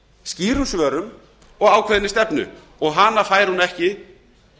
skýrum svörum og ákveðinni stefnu og hana fær hún ekki